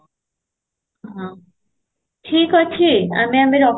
ହଁ, ଠିକ ଅଛି ଆମେ ଆମ ରଖୁ